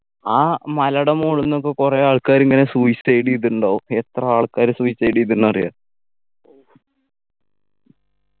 ആ മലേടെ മോള്ന്ന് ഒക്കെ കൊറേ ആൾക്കാരിങ്ങനെ suicide എയ്തിട്ടുണ്ടാകും എത്ര ആൾക്കാര് suicide എയ്തിന്നറിയാ